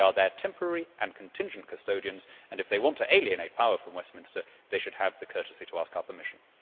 They are their temporary and contingent custodians and, if they want to alienate power from Westminster, they should have the courtesy to ask our permission.